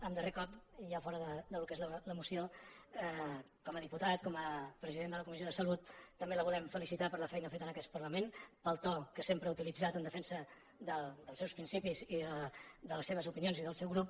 en darrer cop i ja fora del que és la moció com a diputat com a presi·dent de la comissió de salut també la volem felicitar per la feina feta en aquest parlament pel to que sem·pre ha utilitzat en defensa dels seus principis i de les seves opinions i del seu grup